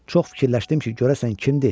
Çox fikirləşdim ki, görəsən kimdir?